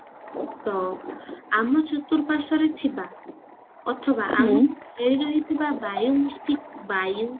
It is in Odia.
ତ ଆମ ଚରତୁରପାରଶ୍ଵରେ ଥିବା ଅଥବା ଆମକୁ ଘେରି ରହିଥିବା ବାୟୁ ମୃତି ବାୟୁ